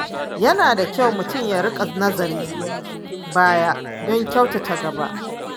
Yana da kyau mutum ya riƙa nazarin baya don kyautata gaba.